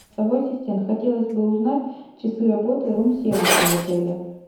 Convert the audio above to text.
голосовой ассистент хотелось бы узнать часы работы рум сервиса в отеле